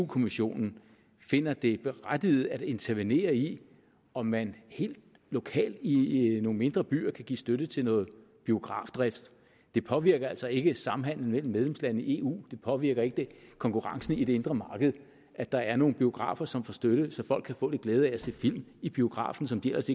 kommissionen finder det berettiget at intervenere i om man helt lokalt i nogle mindre byer kan give støtte til noget biografdrift det påvirker altså ikke samhandelen mellem medlemslandene i eu det påvirker ikke konkurrencen i det indre marked at der er nogle biografer som får støtte så folk kan få lidt glæde af at se film i biografen som de ellers